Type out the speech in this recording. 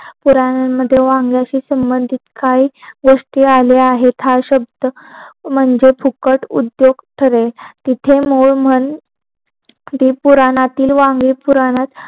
पुरण्यात वांगेशी संबंधित काही गोष्टी राहिल्या आहे हा शब्द म्हणजे फुकट उद्योग ठरेल तिथे मोह मन पुरण्यात वांगे पुरण्यात